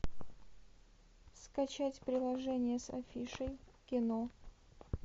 скачать приложение с афишей кино